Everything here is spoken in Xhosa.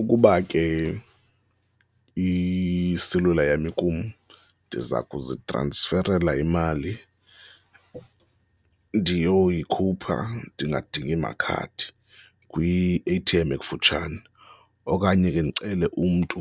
Ukuba ke iselula yam ikum ndiza kuzitransferela imali ndiyoyikhupha, ndingadingi makhadi kwi-A_T_M ekufutshane, okanye ke ndicele umntu